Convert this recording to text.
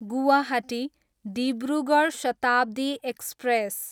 Guwahati, Dibrugarh Shatabdi express